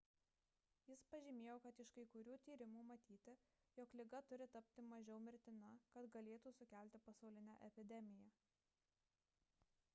jis pažymėjo kad iš kai kurių tyrimų matyti jog liga turi tapti mažiau mirtina kad galėtų sukelti pasaulinę epidemiją